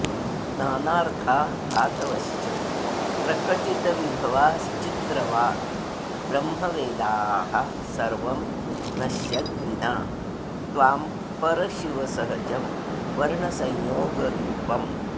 नानार्था धातवश्च प्रकटितविभवाश्चित्रवाग्ब्रह्मवेदाः सर्वं नश्यद्विना त्वां परशिव सहजं वर्णसंयोगरूपम्